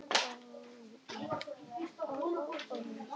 Kristín María: Vitið þið ekkert hvað hún heitir?